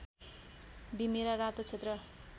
बिमिरा रातो क्षेत्र